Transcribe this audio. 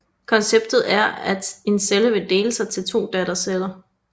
Konceptet er at en celle vil dele sig til to datterceller